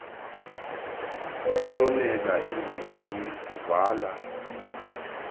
kuhlomela izinti uvala